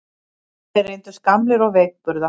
Þeir reyndust gamlir og veikburða